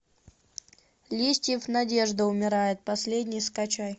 листьев надежда умирает последней скачай